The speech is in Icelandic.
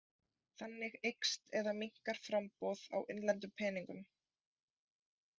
Þannig eykst eða minnkar framboð á innlendum peningum.